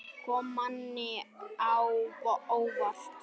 Kom manni á óvart?